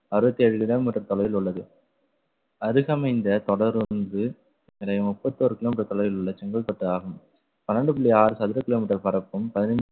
அறுபத்தி ஏழு kilometer தொலைவில் உள்ளது அருகமைந்த தொடர்ந்து முப்பத்தொரு kilometer தொலைவில் உள்ள செங்கல்பட்டு ஆகும். பன்னெண்டு புள்ளி ஆறு சதுர kilometer பரப்பும் பதினைந்து